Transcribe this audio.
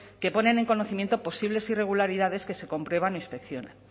que ponen en conocimiento posibles irregularidades que se comprueba en inspección